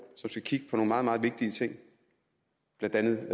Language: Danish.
som skal kigge meget meget vigtige ting blandt andet